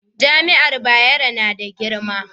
jami'an Bayero na da girma